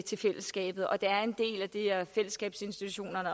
til fællesskabet og det er en del af fællesskabet